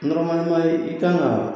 i kan ka